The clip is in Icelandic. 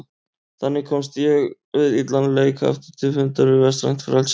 Þannig komst ég við illan leik aftur til fundar við vestrænt frelsi.